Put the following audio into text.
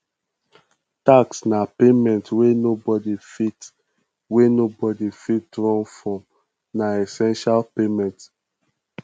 tax na payment wey nobody fit wey nobody fit run from na essential payment